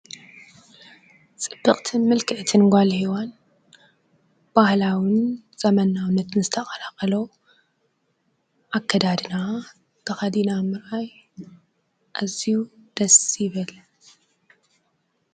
ፅብቅትን ምልክዕትን ጓል ሄዋን ባህላውን ዘመናዊነትን ዝተቀላቀሎ ኣከዳድና ተከዲና ምርኣይ ኣዝዪ ደስ ይብል ።